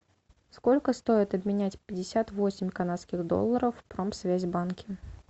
сколько стоит обменять пятьдесят восемь канадских долларов в промсвязьбанке